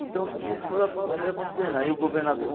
Então, tudo isso foi foi acontecendo. Aí o governador